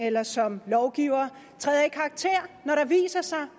eller som lovgiver træder i karakter når der viser sig